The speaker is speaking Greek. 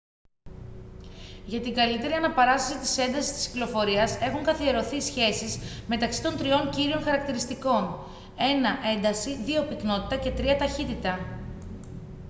για την καλύτερη αναπαράσταση της έντασης της κυκλοφορίας έχουν καθιερωθεί σχέσεις μεταξύ των τριών κύριων χαρακτηριστικών: 1 ένταση 2 πυκνότητα και 3 ταχύτητα